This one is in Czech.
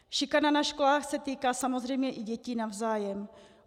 Šikana na školách se týká samozřejmě i dětí navzájem.